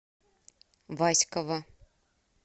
васьково